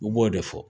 U b'o de fɔ